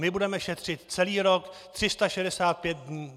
My budeme šetřit celý rok, 365 dní.